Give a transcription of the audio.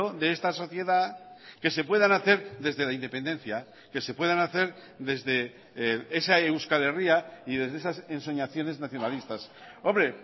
de esta sociedad que se puedan hacer desde la independencia que se puedan hacer desde esa euskal herria y desde esas ensoñaciones nacionalistas hombre